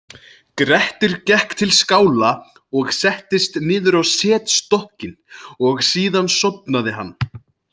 Grettir gekk til skála og settist niður á setstokkinn og síðan sofnaði hann.